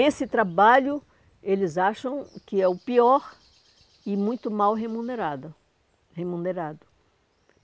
Esse trabalho, eles acham que é o pior e muito mal remunerada remunerado.